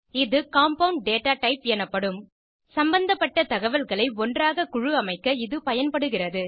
இது compound data type எனப்படும் சம்பந்தப்பட்ட தகவல்களை ஒன்றாக குழுஅமைக்க இது பயன்படுகிறது